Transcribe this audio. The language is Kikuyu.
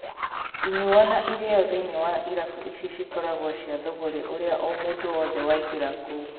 Inyuo na irio thĩiniĩ wa irabu ici cikoragwo cia thũgũrĩ ũrĩa o mũndũ wothe waingĩra kũu.